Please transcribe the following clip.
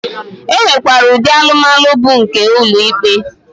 E nwekwara ụdị alụmalụ bụ nke ụlọ ikpe.